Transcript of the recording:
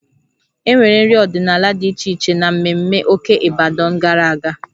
E nwere nri ọdịnala dị iche iche n'ememme Oke Ibadan gara aga